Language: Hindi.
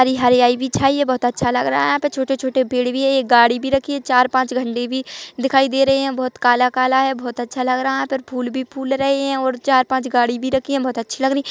हरी हरियाली भी छाई है बहुत अच्छा लग रहा है यहाँ छोटे छोटे पेड़ भी है ये गाड़ी भी रखी है चार पाँच झण्डे भी दिखाई दे रहे है बहुत काला काला है बहुत अच्छा लग रहा है यहाँ पर फूल भी फूल रहे है और चार पाँच गाड़ी भी रखी है बहुत अच्छी लग रही--